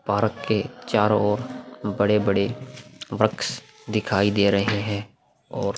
park के चरों ओर बड़े-बड़े वृक्ष दिखाई दे रहे हैं और --